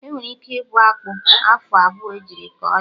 Enwere ike ịbọ akpụ afọ abụọ ejiri kọ ya